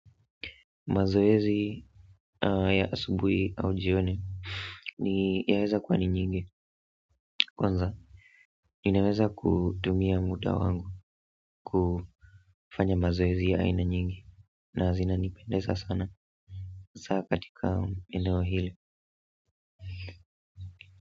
Mazoezi ya asubuhi au jioni ni yaweza kuwa ni nyingi kwanza ninaweza kutumia muda wangu kufanya mazoezi ya aina nyingi na zinanipendeza sana hasaa katika eneo hili.